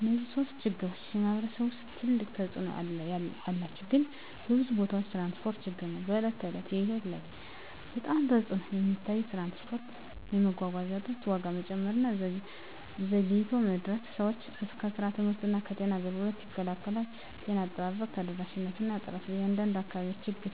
እነዚህ ሶስቱም ችግሮች በማኅበረሰብ ውስጥ ትልቅ ተፅእኖ አላቸው፣ ግን በብዙ ቦታዎች የትራንስፖርት ችግር ነው በዕለት ተዕለት ሕይወት ላይ በጣም ተፅዕኖ የሚታየው። ትራንስፖርት የመጓጓዣ እጥረት፣ ዋጋ መጨመር እና ዘግይቶ መድረስ ሰዎችን ከስራ፣ ከትምህርት እና ከጤና አገልግሎት ይከላከላል። ጤና አጠባበቅ ተደራሽነት እና ጥራት በአንዳንድ አካባቢዎች ችግር